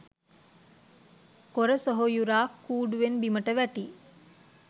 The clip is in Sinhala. කොර සොහොයුරා කූඩුවෙන් බිමට වැටී